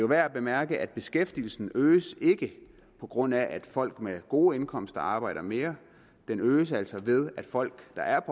værd at bemærke at beskæftigelsen øges ikke på grund af at folk med gode indkomster arbejder mere den øges altså ved at folk der er